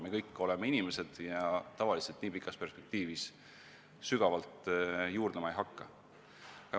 Me kõik oleme inimesed ja tavaliselt nii pikas perspektiivis sügavalt juurdlema ei hakka.